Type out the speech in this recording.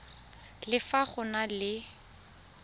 le fa go na le